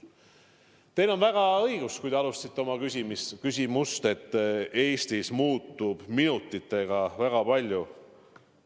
Teil on õigus, kui te alustasite oma küsimust nentides, et Eestis muutub minutitega väga palju.